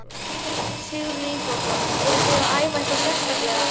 Sigurður Ingólfsson: Eruð þið að æfa eitthvað sérstaklega?